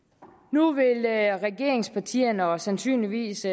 nu vil regeringspartierne og sandsynligvis